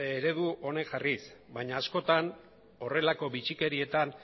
eredu honek jarriz baina askotan horrelako bitxikerietan